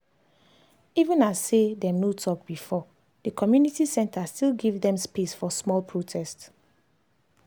even as say dem as say dem no talk before the community center still give them space for small protest.